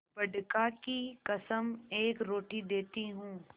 बड़का की कसम एक रोटी देती हूँ